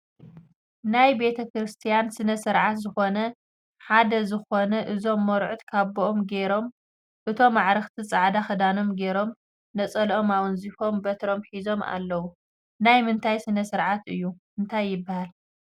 ናይ ቤተክርስትያን ስነ ስርዓት ዝኮነ ሓደ ዝኮነ እዞም መርዑት ካብኦም ጌሮም እቶም ኣዕርክቲ ፃዕዳ ክዳኖም ጌሮም ነፀልኦም ኣወንዚፎም በትሮም ሒዞም ኣለለዉ ናይ ምንታይ ስነ ስርዓት እዩ ?እንታይ ይበሃል ?